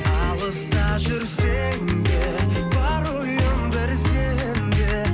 алыста жүрсем де бар ойым бір сенде